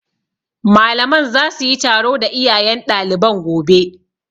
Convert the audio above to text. Malaman za su yi taro da iyayen ɗaliban gobe